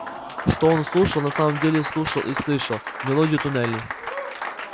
что он слушал на самом деле слушал и слышал мелодию туннелей